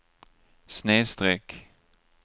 snedsträck